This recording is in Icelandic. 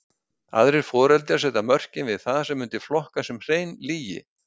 Aðrir foreldrar setja mörkin við það sem mundi flokkast sem hrein lygi.